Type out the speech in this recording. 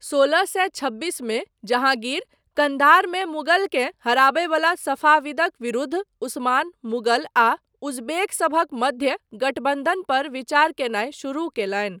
सोलह सए छब्बीसमे, जहाँगीर, कन्धारमे मुगलकेँ हराबयवला सफाविदक विरूद्ध उस्मान, मुगल आ उजबेक सभक मध्य गठबन्धन पर विचार कयनाय शुरू कयलनि।